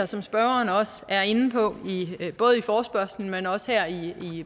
som spørgeren også er inde på både i forespørgslen men også her i